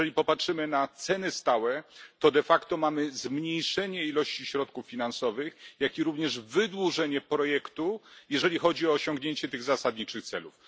Jeżeli popatrzymy na ceny stałe, to mamy zmniejszenie ilości środków finansowych, jak również wydłużenie projektu jeżeli chodzi o osiągnięcie tych zasadniczych celów.